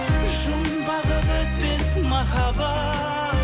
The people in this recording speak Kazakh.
жұмбағы бітпес махаббат